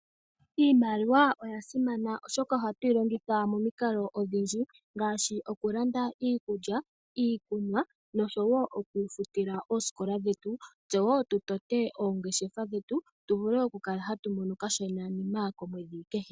Iimaliwa oya simana molwaashoka oha tu yi longitha momikalo odhindji ngaashi oku landa iikulya, iikunwa osho woo okwiifutila oosikola dhetu, tse woo tu tote oongeshefa dhetu tu vule oku kala ha tu mono okashonanima komwedhi kehe.